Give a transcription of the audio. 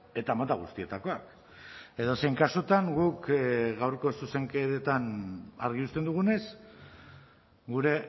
eta mota guztietakoak edozein kasutan guk gaurko zuzenketan argi uzten dugunez gure